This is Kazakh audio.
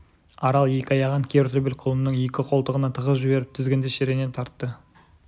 арал екі аяғын кер төбел құлынның екі қолтығына тығып жіберіп тізгінді шірене тартты